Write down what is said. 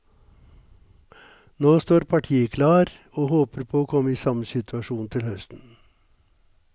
Nå står partiet klar og håper på å komme i samme situasjon til høsten.